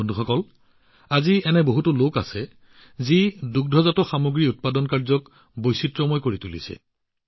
বন্ধুসকল আজি বহু লোক আছে যি দুগ্ধজাত সামগ্ৰী গ্ৰহণ কৰি বৈচিত্ৰ্যতা সৃষ্টি কৰিছে